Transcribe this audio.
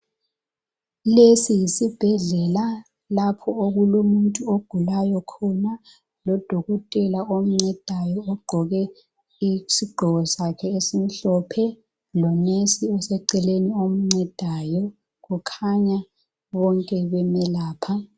Lesi yisibhedlela lapho okulomuntu ogulayo khona. Lodokotela oncedayo ogqoke isigqoko sakhe esimhlophe lonesi oseceleni omcedayo kukhanya bonke bemelapha.